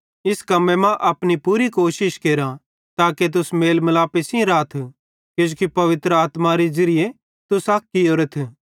इस कम्मे मां अपनी पूरी कोशिश केरा ताके तुस मेल मिलापे सेइं राथ किजोकि पवित्र आत्मारे ज़िरिये तुस अक कियोरेथ